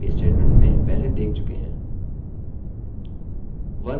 2=to मतलब comparison operator हम यह if statement में पहले देख चुके हैं